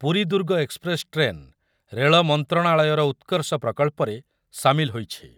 Puri Durg express train ରେଳ ମନ୍ତ୍ରଣାଳୟର ଉତ୍କର୍ଷ ପ୍ରକଳ୍ପରେ ସାମିଲ ହୋଇଛି ।